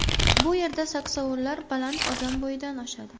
Bu yerda saksovullar baland odam bo‘yidan oshadi.